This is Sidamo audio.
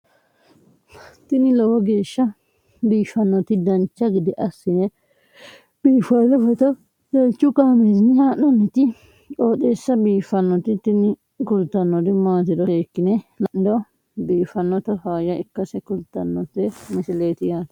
tini lowo geeshsha biiffannoti dancha gede biiffanno footo danchu kaameerinni haa'noonniti qooxeessa biiffannoti tini kultannori maatiro seekkine la'niro biiffannota faayya ikkase kultannoke misileeti yaate